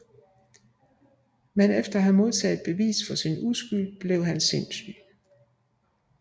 Men efter at have modtaget bevis for sin uskyld bliver han sindssyg